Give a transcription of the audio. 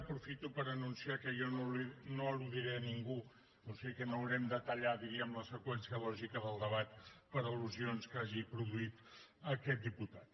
aprofito per anunciar que jo no al·ludiré ningú o sigui que no haurem de tallar diríem la seqüència lògica del debat per al·lusions que hagi produït aquest diputat